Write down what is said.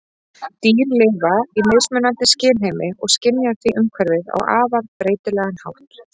Dýr lifa í mismunandi skynheimi og skynja því umhverfið á afar breytilegan hátt.